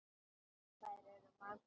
Og þær eru margar.